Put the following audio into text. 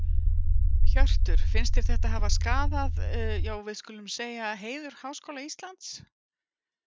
Hjörtur: Finnst þér þetta hafa skaða já skulum við segja heiður Háskóla Íslands?